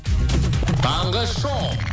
таңғы шоу